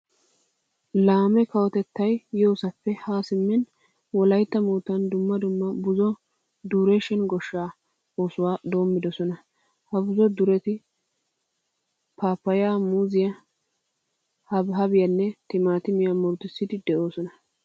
Laame kawotettay yoosappe Haa simmin wolaytta moottan dumma dumma buzo duration goshshaa oosuwa doommidosona. Ha buzo dureti paappayyaa, muuziya, habaabiyanne timaatimiya murutissiiddi de'oosona.